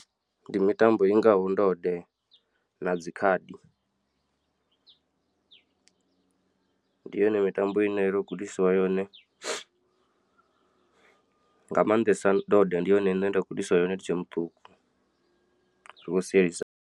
Ndi mitambo ingaho ndode na dzi khadi ndi yone mitambo ine ndo gudisiwa yone nga maanḓesa ndode ndi yone ine nda gudisiwa yone ndi tshe muṱuku zwi khou sielisana.